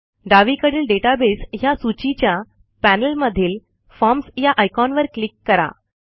डावीकडील डेटाबेस ह्या सूचीच्या पॅनेलमधील फॉर्म्स या आयकॉनवर क्लिक करा